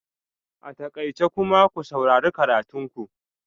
A takaice! kuma ku saurari karatun ku